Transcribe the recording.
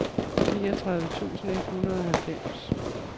niogtredive tusind et hundrede og halvfems